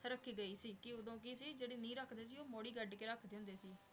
ਰਾਖੀ ਗਈ ਸੀ ਕੀ ਓਦੋਂ ਕੇ ਜੇਰੀ ਨੀ ਰਖਦੇ ਸੀ ਊ ਮੋਰੀ ਕਦ ਕੇ ਰਖਦੇ ਹੁੰਦੇ ਸੀ